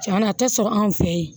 Tiɲɛna a tɛ sɔrɔ anw fɛ yen